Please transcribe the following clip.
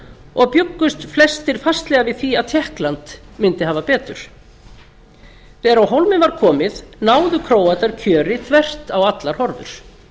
og bjuggust flestir fastlega við því að tékkland myndi hafa betur en þegar á hólminn var komið náðu króatar kjöri þvert á allar horfur